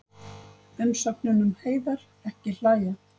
Umsögnin um Heiðar: Ekki hlæja.